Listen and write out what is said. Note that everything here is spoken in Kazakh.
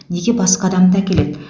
неге басқа адамды әкеледі